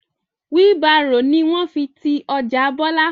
Wheel Barrow ni wọ́n fi ti ọjà bọlá